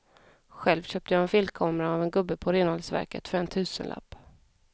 Själv köpte jag en filmkamera av en gubbe på renhållningsverket för en tusenlapp.